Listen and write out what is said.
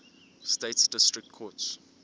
states district courts